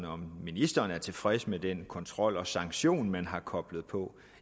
om ministeren er tilfreds med den kontrol og sanktion man har koblet på